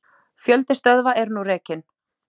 Fjöldi stöðva er nú rekinn.